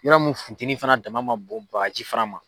Yɔrɔ min futeni fana dama ma bɔ bagaji fana ma.